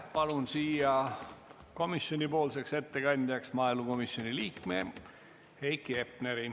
Palun siia komisjoni ettekandjaks maaelukomisjoni liikme Heiki Hepneri.